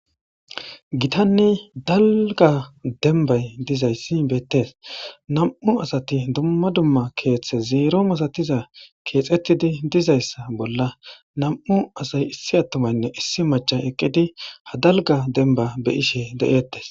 gitanni dalga denbay dizayssi beettes nam7u asati dumma dumma keeththe zeero misatiza keexettidi dizayssa bolla nam7u asay issi attomaynne issi macha eqqidi hadalga denba beyishe de7eettes